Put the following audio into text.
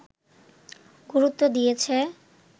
গুরুত্ব দিয়েছে